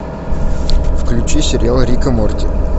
включи сериал рик и морти